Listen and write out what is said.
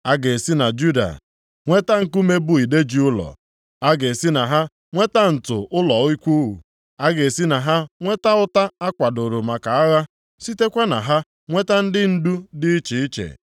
A ga-esi na Juda nweta nkume bụ ide ji ụlọ, + 10:4 Maọbụ, nkume nkuku ụlọ a ga-esi na ha nweta ǹtu ụlọ ikwu, a ga-esi na ha nweta ụta a kwadoro maka agha, sitekwa na ha nweta ndị ndu dị iche iche.